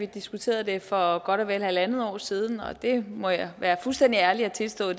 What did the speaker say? vi diskuterede det for godt og vel halvandet år siden og det må jeg være fuldstændig ærlig og tilstå